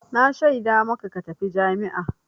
Na shaida maka ka tafi jami'a!